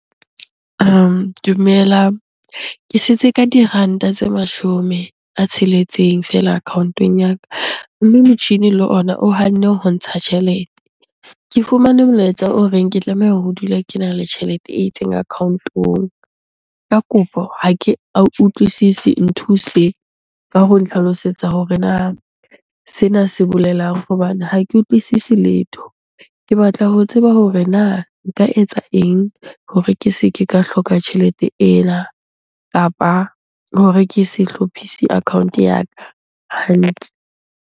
Dumelang, ke setse ka diranta tse mashome a tsheletseng feela account-ong ya ka. Mme motjhini le ona o hanne ho ntsha tjhelete. Ke fumane molaetsa o reng ke tlameha ho dula kena le tjhelete e itseng account-ong. Ka kopo ha utlwisisi, nthuse ka ho ntlhalosetsa hore na sena se bolelang hobane ha ke utlwisisi letho? Ke batla ho tsa sheba hore na nka etsa eng hore ke se ke ka hloka tjhelete ena? Kapa hore ke se hlophise account ya ka hantle.